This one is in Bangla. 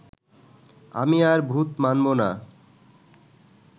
আমি আর ভূত মানবো না